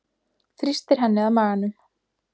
Þrýstir henni að maganum.